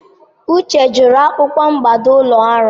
Uche chọrọ akwụkwọ mmado ụlọ ọrụ.